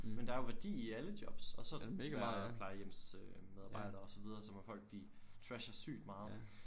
Men der er jo værdi i alle jobs og så der plejehjemsmedarbejdere og så videre som hvor folk de trasher sygt meget